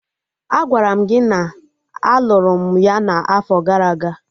Agwara m gị na a lụrụ m ya na afo gara aga!